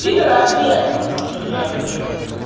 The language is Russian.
пидора ответ шлюхи оргумент